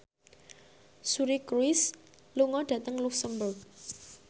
Suri Cruise lunga dhateng luxemburg